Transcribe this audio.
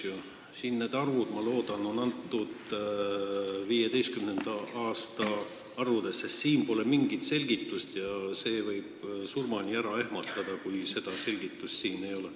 Ma loodan, et need on 2015. aasta arvud – siin pole mingit selgitust ja see võib surmani ära ehmatada, kui seda selgitust ei ole.